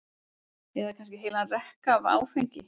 eða kannski heilan rekka af áfengi?